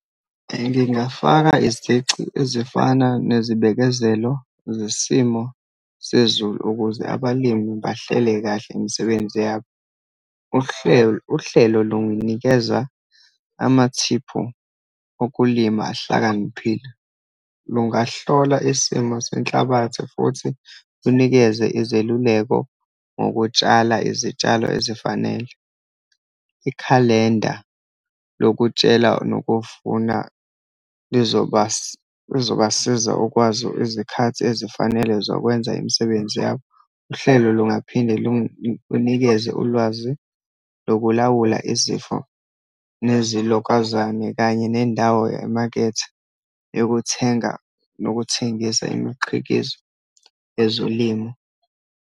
Ngingafaka izici ezifana nezibekezelo zesimo sezulu, ukuze abalimi bahlele kahle imisebenzi yabo. Uhlelo lunginikeza amathiphu okulima ahlakaniphile, lungahlola isimo senhlabathi, futhi kunikeze izeluleko ngokutshala izitshalo ezifanele. Ikhalenda lokutshela nokuvuna lizobasiza ukwazi izikhathi ezifanele zokwenza imisebenzi yabo. Uhlelo lungaphinde lunikeze ulwazi lokulawula izifo nezilokazane, kanye nendawo emakethe yokuthenga nokuthengisa imiqhikizo yezolimo.